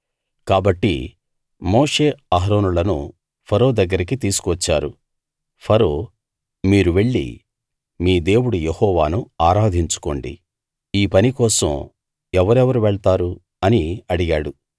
కాబట్టి మోషే అహరోనులను ఫరో దగ్గరికి తీసుకు వచ్చారు ఫరో మీరు వెళ్లి మీ దేవుడు యెహోవాను ఆరాధించుకోండి ఈ పని కోసం ఎవరెవరు వెళ్తారు అని అడిగాడు